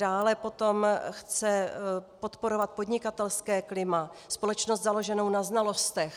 Dále potom chce podporovat podnikatelské klima, společnost založenou na znalostech.